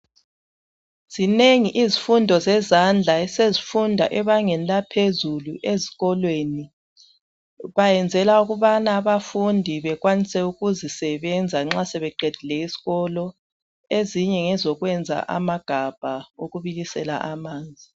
Zinengi izifundo zezandla esezifundwa ebangeni laphezulu ezikolweni, bayenzela ukuthi abafundi bekwanise ukuzisebenza nxa sebeqedile esikolo. Ezinye ngezokuyenza amagabha okubilisela amanzi